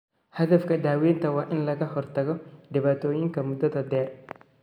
Hadafka daawaynta waa in laga hortago dhibaatooyinka muddada dheer.